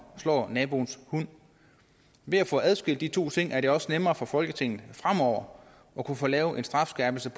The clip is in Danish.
slå naboens hund ved at få adskilt de to ting er det også nemmere for folketinget fremover at kunne få lavet en strafskærpelse